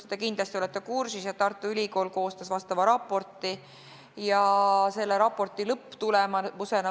Te olete kindlasti kursis, et Tartu Ülikool on koostanud sellel teemal raporti.